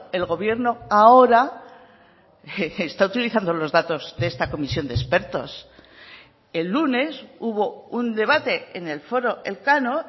el gobierno ahora está utilizando los datos de esta comisión de expertos el lunes hubo un debate en el foro elcano